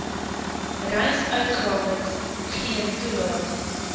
reisuitgawes geen toelaag